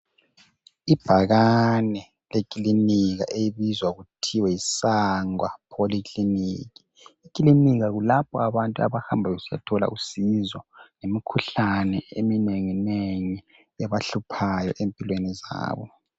Ibhakane lekilinika. Elibizwa kuthiwa yiSangwa Polyclinic. Ekilinika kulapha abantu avahamba besiyathola usizo. Ngemikhuhlane, eminenginengi. Ebahluphayo, empilweni zabo.